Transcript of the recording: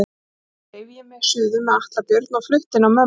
Síðan dreif ég mig suður með Atla Björn og flutti inn á mömmu.